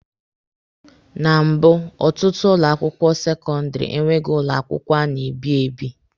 Na mbụ, ọtụtụ ụlọ akwụkwọ sekọndịrị enweghị ụlọ akwụkwọ a na-ebi ebi.